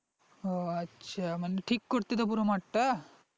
ও আচ্ছা মানে ঠিক করতে তো পুরো মাঠ টা?